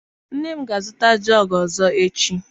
Nne m ga a zụta jọgu ọzọ echi.